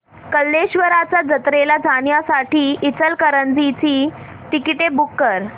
कल्लेश्वराच्या जत्रेला जाण्यासाठी इचलकरंजी ची तिकिटे बुक कर